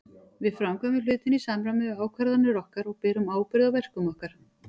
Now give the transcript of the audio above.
Við framkvæmum hlutina í samræmi við ákvarðanir okkar og berum ábyrgð á verkum okkar.